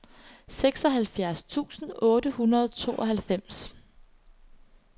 seksoghalvfjerds tusind otte hundrede og tooghalvfems